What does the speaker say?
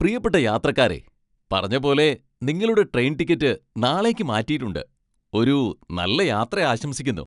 പ്രിയപ്പെട്ട യാത്രക്കാരേ, പറഞ്ഞപോലെ നിങ്ങളുടെ ട്രെയിൻ ടിക്കറ്റ് നാളേക്ക് മാറ്റിയിട്ടുണ്ട്. ഒരു നല്ല യാത്ര ആശംസിക്കുന്നു!